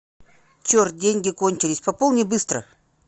черт деньги кончились пополни быстро